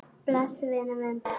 Bless, vinur minn, bless.